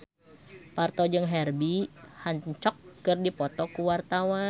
Parto jeung Herbie Hancock keur dipoto ku wartawan